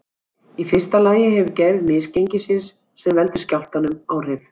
Í fyrsta lagi hefur gerð misgengisins sem veldur skjálftanum áhrif.